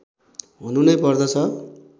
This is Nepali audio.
हुनु नै पर्दछ